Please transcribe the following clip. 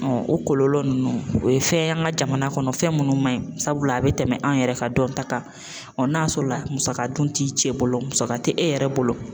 o kɔlɔlɔ nunnu o ye fɛn ye an ka jamana kɔnɔ fɛn munnu man ɲi sabula a be tɛmɛ an yɛrɛ ka dɔnta kan ɔ n'a sɔrɔla musaka dun ti cɛ bolo musaka te e yɛrɛ bolo